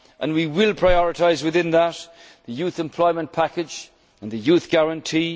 will meet head on. We will prioritise within that the Youth Employment Package and the